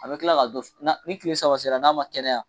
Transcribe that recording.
An bɛ kila ka dɔ ni kile saba sera n'a ma kɛnɛya.